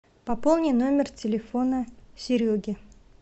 пополни номер телефона сереги